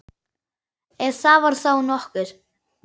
Ef það var þá nokkuð.